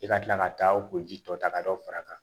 I ka kila ka taa o ji tɔ ta ka dɔ far'a kan